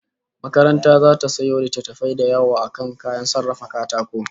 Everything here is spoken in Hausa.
Makaranta zata sayo littattafai da yawa akan kayan sarrafa katako